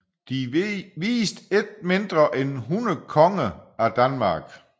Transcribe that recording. De viste ikke mindre end 100 konger af Danmark